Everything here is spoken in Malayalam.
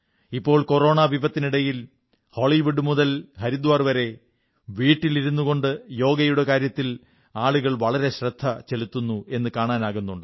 ഇപ്പോൾ കൊറോണ വിപത്തിനിടയിൽ ഹോളിവുഡ് മുതൽ ഹരിദ്വാർ വരെ വീട്ടിലിരുന്നുകൊണ്ട് യോഗയുടെ കാര്യത്തിൽ ആളുകൾ വളരെ ശ്രദ്ധ ചെലത്തുന്നു എന്നു കാണാനാകുന്നുണ്ട്